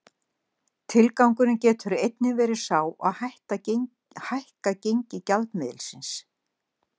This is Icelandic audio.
Tilgangurinn getur einnig verið sá að hækka gengi gjaldmiðilsins.